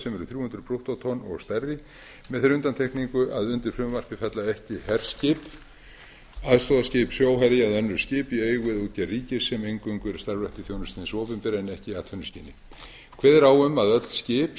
sem eru þrjú hundruð brúttótonn og stærri með þeirri undantekningu að undir frumvarpið falla ekki herskip aðstoðarskip sjóherja eða önnur skip í eigu eða útgerð ríkis sem eingöngu eru starfrækt í þjónustu hins opinbera en ekki í atvinnuskyni kveðið er á um að öll skip